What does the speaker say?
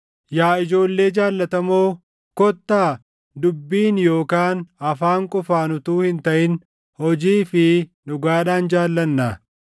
Yaa ijoollee jaallatamoo, kottaa dubbiin yookaan afaan qofaan utuu hin taʼin hojii fi dhugaadhaan jaallannaa.